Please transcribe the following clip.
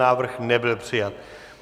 Návrh nebyl přijat.